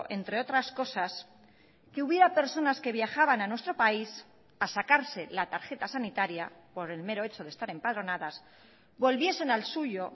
entre otras cosas que hubiera personas que viajaban a nuestro país a sacarse la tarjeta sanitaria por el mero hecho de estar empadronadas volviesen al suyo